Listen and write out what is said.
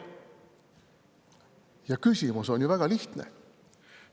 Ja küsimus on ju väga lihtne.